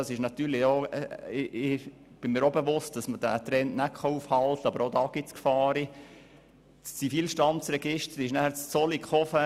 Mit der Digitalisierung kam die Zentralisierung in Zollikofen.